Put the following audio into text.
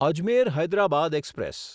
Ajmer Hyderabad express